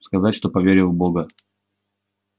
сказать что поверил в бога